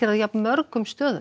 á jafn mörgum stöðum